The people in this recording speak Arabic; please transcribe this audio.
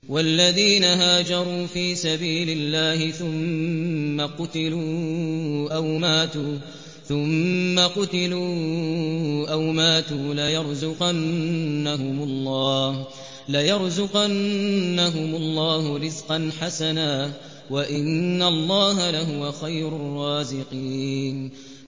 وَالَّذِينَ هَاجَرُوا فِي سَبِيلِ اللَّهِ ثُمَّ قُتِلُوا أَوْ مَاتُوا لَيَرْزُقَنَّهُمُ اللَّهُ رِزْقًا حَسَنًا ۚ وَإِنَّ اللَّهَ لَهُوَ خَيْرُ الرَّازِقِينَ